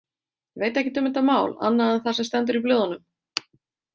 Veit ekkert um þetta mál annað en það sem stendur í blöðunum.